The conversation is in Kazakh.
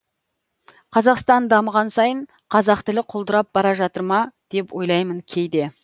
қазақстан дамыған сайын қазақ тілі құлдырап бара жатыр ма деп ойлаймын кейде